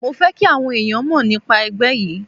Mo fẹ́ kí àwọn ẹ̀yàn mọ̀ nípa ẹgbẹ́ yí.